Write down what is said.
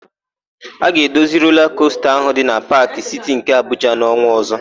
A ga-edozi rola kosta ahụ dị na Paakị Siti nke Abuja n'ọnwa ọ̀zọ́.